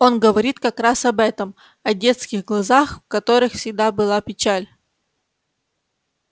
он говорит как раз об этом о детских глазах в которых всегда была печаль